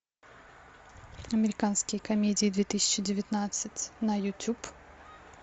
американские комедии две тысячи девятнадцать на ютуб